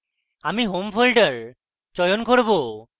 আমি home folder চয়ন করব